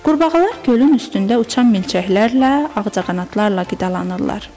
Qurbağalar gölün üstündə uçan milçəklərlə, ağcaqanadlarla qidalanırlar.